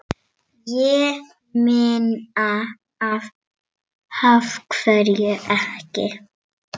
Ég meina, af hverju ekki?